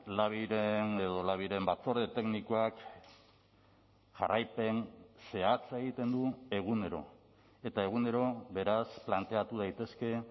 labiren edo labiren batzorde teknikoak jarraipen zehatza egiten du egunero eta egunero beraz planteatu daitezke